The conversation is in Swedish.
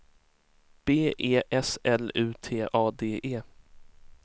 B E S L U T A D E